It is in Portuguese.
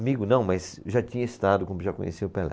Amigo não, mas já tinha estado, já conhecia o Pelé.